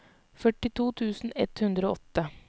førtito tusen ett hundre og åtte